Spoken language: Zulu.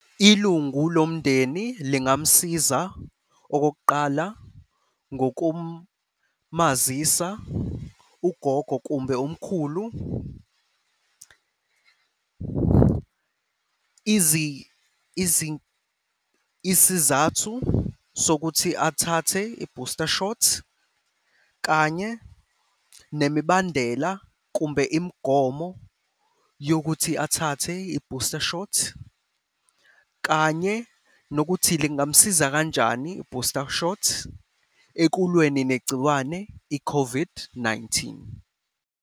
Ilungu lomndeni lingamsiza okokuqala, ngokumazisa ugogo kumbe umkhulu isizathu sokuthi athathe i-booster shot, kanye nemibandela kumbe imigomo yokuthi athathe i-booster shot kanye nokuthi lingamsiza kanjani i-booster shot ekulweni negciwane i-COVID-19.